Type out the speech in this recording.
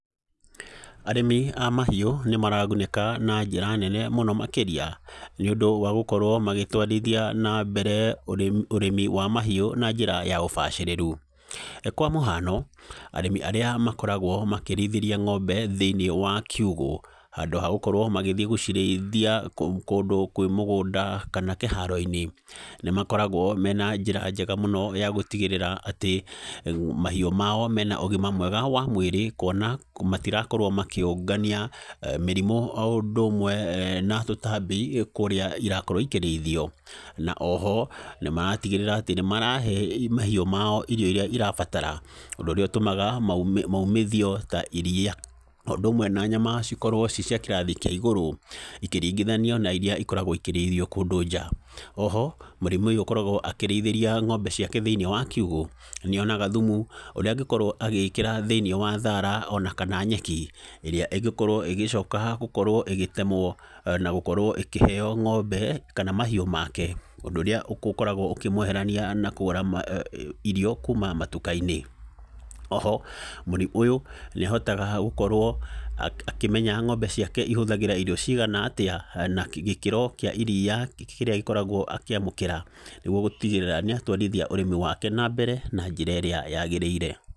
Arĩmi a mahiũ nĩ maragunĩka na njĩra nene mũno makĩria, nĩ ũndũ wa gũkorwo magĩtwarithia na mbere ũrĩmi wa mahiũ na njĩra ya ũbacĩrĩru. Kwa mũhano, arĩmi arĩa makoragwo makĩrĩithĩria ng'ombe thĩiniĩ wa kiugũ, handũ ha gũkorwo magĩthiĩ gũcirĩithia kũndũ kwĩ mũgũnda kana kĩharo-inĩ, nĩ makoragwo mena njĩra njega mũno ya gũtigĩrĩra atĩ mahiũ mao mena ũgima mwega wa mwĩrĩ, kuona matirakorwo makĩũngania mĩrimũ o ũndũ ũmwe na tũtambi kũrĩa irakorwo ikĩrĩithio. Na oho, nĩ maratigĩrĩra atĩ nĩ marahe mahiũ mao irio irĩa irabatara ũndũ ũrĩa ũtũmaga, maumithio ta iriia o ũndũ ũmwe na nyama cikorwo ci cia kĩrathi kĩa igũrũ ikiringithanio na irĩa ikoragwo ikĩrĩithio kũndũ nja. Oho, mũrĩmi ũyũ ũkoragwo akĩrĩithĩria ng'ombe ciake thĩiniĩ wa kiugũ, nĩ onaga thumu, ũrĩa angĩkorwo agĩkĩra thĩiniĩ wa thaara ona kana nyeki, ĩrĩa ĩngĩkorwo ĩgĩcoka gũkorwo ĩgĩtemwo na gũkorwo ĩkĩheeo ng'ombe kana mahiũ make. Ũndũ ũrĩa ũkoragwo ũkĩmweherania na kũgũra irio kuuma matuka-inĩ. Oho, mũrĩmi ũyũ, nĩ ahotaga gũkorwo akĩmenya ng'ombe ciake ihũthagĩra irio cigana atĩa, na gĩkĩro kĩa iriia kĩrĩa gĩkoragwo akĩamũkĩra, nĩguo gũtigĩrĩra nĩ atwarithia ũrĩmi wake na mbere na njĩra ĩrĩa yagĩrĩire.